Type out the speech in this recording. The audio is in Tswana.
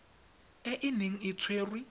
e e neng e tshwerwe